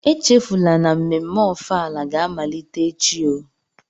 Echefula na mmemme Ofala ga-amalite echi oh.